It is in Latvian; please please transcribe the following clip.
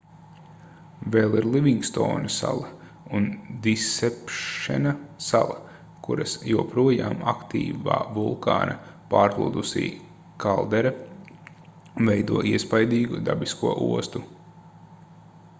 vēl ir livingstona sala un disepšena sala kuras joprojām aktīvā vulkāna pārplūdusī kaldera veido iespaidīgu dabisko ostu